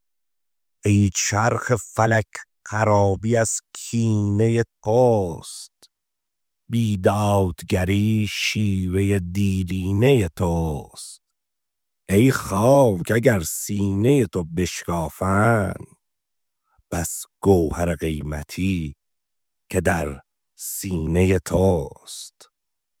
ای چرخ فلک خرابی از کینه توست بی دادگری شیوه دیرینه توست ای خاک اگر سینه تو بشکافند بس گوهر قیمتی که در سینه توست